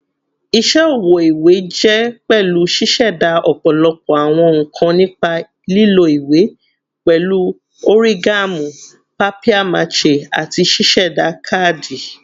Iṣẹ ọwọ iwe jẹ pẹlu ṣiṣẹda ọpọlọpọ awọn nkan nipa lilo iwe, pẹlu origami, papier-mâché, ati ṣiṣe kaadi.